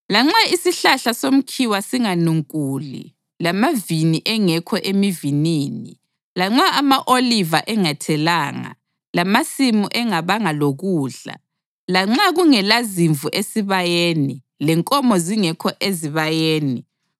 Lanxa isihlahla somkhiwa singanunkuli lamavini engekho emivinini; lanxa ama-oliva engathelanga, lamasimu engabanga lokudla, lanxa kungelazimvu esibayeni lenkomo zingekho ezibayeni,